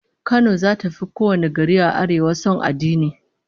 Kano zata fi kowane gari a Arewa son addini